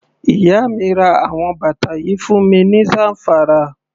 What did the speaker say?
Iya mi ra àwọn bàtà yìí fún mi ní Zamfara.